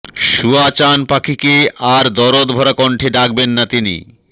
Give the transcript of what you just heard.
শুয়া চান পাখিকে আর দরদভরা কণ্ঠে ডাকবেন না তিনি